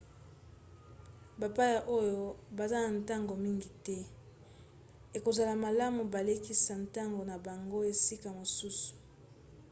bapaya oyo baza na ntango mingi te ekozala malamu balekisa ntango na bango esika mosusu